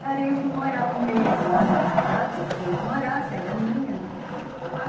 Cara, eu fui morar um mês lá naquela casa, porque eu não tinha onde morar, saí da minha, enfim, fui lá.